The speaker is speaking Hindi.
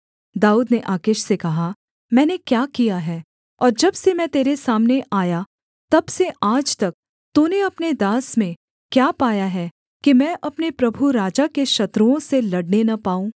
दाऊद ने आकीश से कहा मैंने क्या किया है और जब से मैं तेरे सामने आया तब से आज तक तूने अपने दास में क्या पाया है कि मैं अपने प्रभु राजा के शत्रुओं से लड़ने न पाऊँ